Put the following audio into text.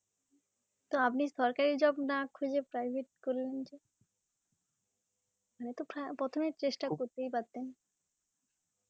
তো আপনি সরকারী job না খুঁজে private করলেন যে হম তো পরা~ প্রথমেই চেষ্ঠা করতেই পারতেন